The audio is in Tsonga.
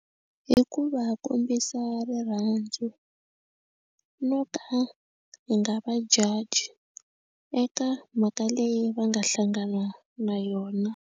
Hi ku va kombisa rirhandzu no ka ni nga va judge eka mhaka leyi va nga hlangana na yona.